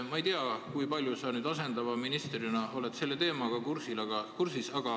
Ma ei tea, kui palju sa asendava ministrina selle teemaga kursis oled.